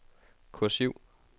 kursiv